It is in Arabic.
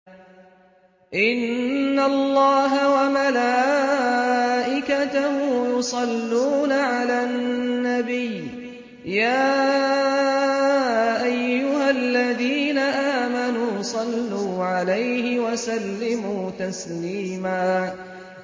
إِنَّ اللَّهَ وَمَلَائِكَتَهُ يُصَلُّونَ عَلَى النَّبِيِّ ۚ يَا أَيُّهَا الَّذِينَ آمَنُوا صَلُّوا عَلَيْهِ وَسَلِّمُوا تَسْلِيمًا